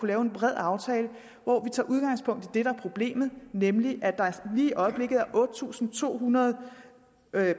lave en bred aftale hvor vi tager udgangspunkt i det der er problemet nemlig at der lige i øjeblikket er otte tusind to hundrede